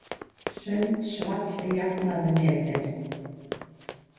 Sundsvall jafnaði metin